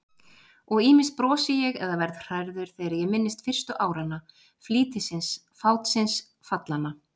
Og ýmist brosi ég eða verð hrærður þegar ég minnist fyrstu áranna, flýtisins, fátsins, fallanna.